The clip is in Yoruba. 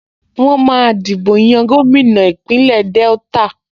Wọ́n máa dìbò yan gómìnà Ìpínlẹ̀ Delta